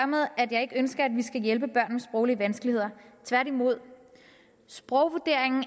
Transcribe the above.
med at jeg ikke ønsker at vi skal hjælpe børn med sproglige vanskeligheder tværtimod sprogvurderingen